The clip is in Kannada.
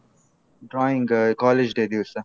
Drawing college day ದಿವ್ಸ.